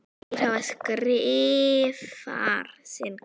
Hver þeirra skrifar sinn kafla.